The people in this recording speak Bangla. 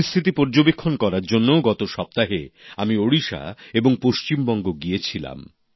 পরিস্থিতি পর্যবেক্ষণ করার জন্য গত সপ্তাহে আমি ওড়িশা এবং পশ্চিমবঙ্গ গিয়েছিলাম